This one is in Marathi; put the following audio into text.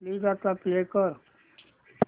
प्लीज आता प्ले कर